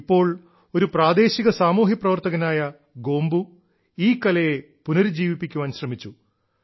ഇപ്പോൾ ഒരു പ്രാദേശിക സാമൂഹ്യപ്രവർത്തകനായ ഗോംബൂ ഈ കലയെ പുനരുജ്ജീവിപ്പിക്കുവാൻ ശ്രമിച്ചു